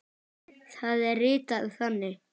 Það er ritað þannig